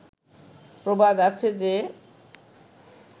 প্রবাদ আছে যে